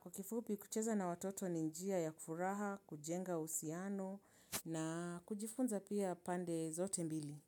Kwa kifubi kucheza na watoto ni njia ya kufuraha, kujenga usiano na kujifunza pia pande zote mbili.